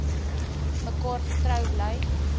mekaar getrou bly